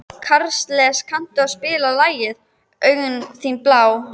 Karles, kanntu að spila lagið „Augun þín blá“?